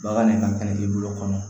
Bagan nin ka kɛnɛ i bolo kɔnɔ